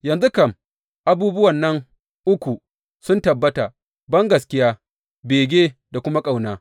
Yanzu kam abubuwan nan uku sun tabbata, bangaskiya, bege, da kuma ƙauna.